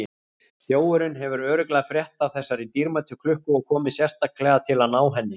Þjófurinn hefur örugglega frétt af þessari dýrmætu klukku og komið sérstaklega til að ná henni.